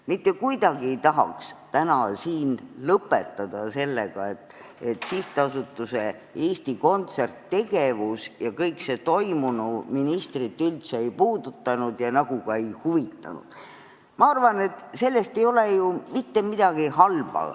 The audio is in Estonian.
Mitte kuidagi ei tahaks täna lõpetada sellega, et SA Eesti Kontsert tegevus ja kõik see toimunu ministrit üldse ei puudutanud ja nagu ka ei huvitanud.